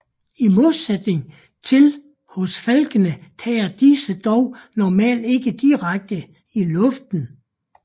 I modsætning til hos falkene tages disse dog normalt ikke direkte i luften